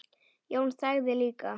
Jón þagði líka.